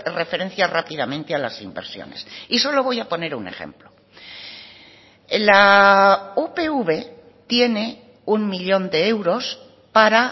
referencia rápidamente a las inversiones y solo voy a poner un ejemplo la upv tiene uno millón de euros para